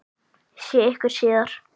Sé ykkur síðar.